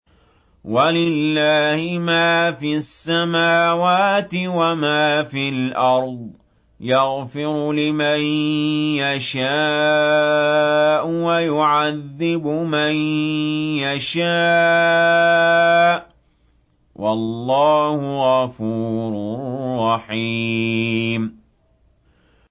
وَلِلَّهِ مَا فِي السَّمَاوَاتِ وَمَا فِي الْأَرْضِ ۚ يَغْفِرُ لِمَن يَشَاءُ وَيُعَذِّبُ مَن يَشَاءُ ۚ وَاللَّهُ غَفُورٌ رَّحِيمٌ